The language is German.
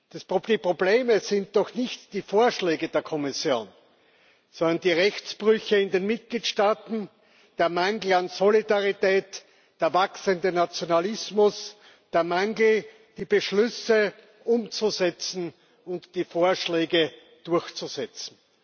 Das Problem sind doch nicht die Vorschläge der Kommission, sondern die Rechtsbrüche in den Mitgliedstaaten, der Mangel an Solidarität, der wachsende Nationalismus, das Versäumnis, die Beschlüsse umzusetzen und die Vorschläge durchzusetzen.